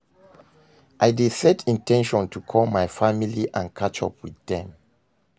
I dey set in ten tion to call my family and catch up with dem.